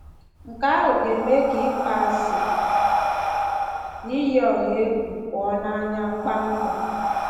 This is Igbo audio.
Nke ahụ ga-eme ka ịkpọasị na iyi ọha egwu pụọ n’anya kpamkpam